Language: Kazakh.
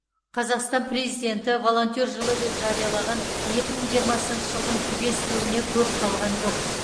қазақстан президенті волонтер жылы деп жариялаған екі мың жиырмасыншы жылдың түгесілуіне көп қалған жоқ